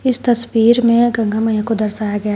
इस तस्वीर में गंगा मैया को दर्शाया गया है।